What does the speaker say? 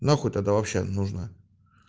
нахуй тогда вообще нужна